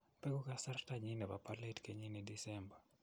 beku kasartanyin nebo bolatet kenyini disemba.